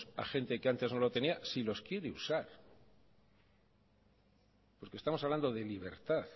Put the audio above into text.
a gente que antes no lo tenía si los quiere usar porque estamos hablando de libertad